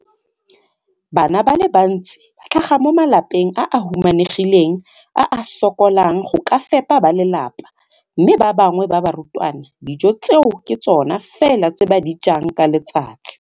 Bana ba le bantsi ba tlhaga mo malapeng a a humanegileng a a sokolang go ka fepa ba lelapa mme ba bangwe ba barutwana, dijo tseo ke tsona fela tse ba di jang ka letsatsi.